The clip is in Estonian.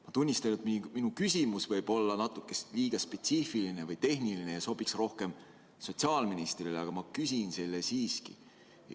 Ma tunnistan, et minu küsimus võib olla natuke liiga spetsiifiline või tehniline ja sobiks rohkem sotsiaalministrile, aga ma küsin selle siiski.